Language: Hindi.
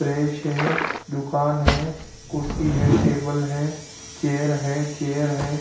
प्रेस है दुकान है कुर्सी है टेबल है चेयर है चेयर है ।